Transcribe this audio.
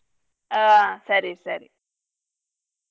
ಆ ಸರಿ ಸರಿ.